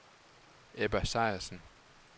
Ebba Sejersen